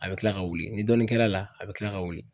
A bi kila ka wuli ni dɔɔni kɛra a la a bi kila ka wuli